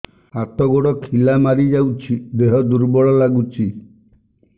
ହାତ ଗୋଡ ଖିଲା ମାରିଯାଉଛି ଦେହ ଦୁର୍ବଳ ଲାଗୁଚି